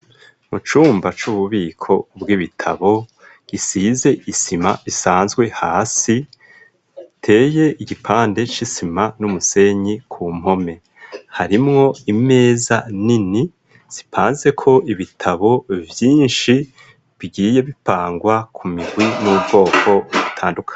Mu cumba c'ububiko bw' ibitabo gisize isima isanzwe hasi, iteye igipande c'isima n'umusenyi ku mpome, harimwo imeza nini zipanze ko ibitabo vyinshi bigiye bipangwa ku mirwi n'ubwoko butanduka.